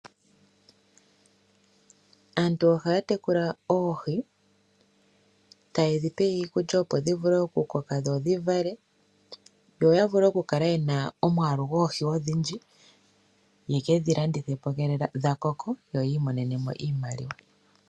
Aantu ohaa tekula oohi taye ndhipe iikulya opo ndhi vule oku koka ndho dhi vale, yoya vule oku kala yena omwaalu goohi ogundji, yekedhilandithe po ngele dha koko yoyi imonene mo oshimaliwa.